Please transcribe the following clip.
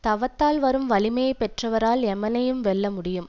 தவத்தால் வரும் வலிமையை பெற்றவரால் எமனையும் வெல்ல முடியும்